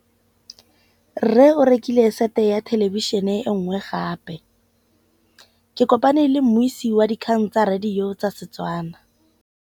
Rre o rekile sete ya thêlêbišênê e nngwe gape. Ke kopane mmuisi w dikgang tsa radio tsa Setswana.